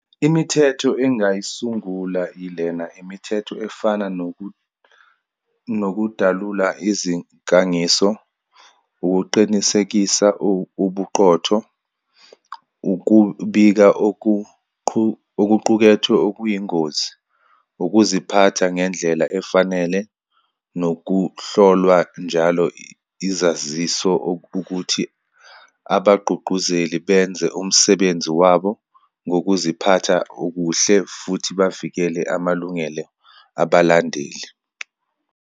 Imithetho engingayisula ilena. Imithetho efana nokudalula izinkangiso, ukuqinisekisa ubuqotho, ukubika okuqukethwe okuyingozi, ukuziphatha ngendlela efanele, nokuhlolwa njalo izaziso ukuthi abagqugquzeli benze umsebenzi wabo ngokuziphatha okuhle, futhi bavikele amalungelo abalandeli.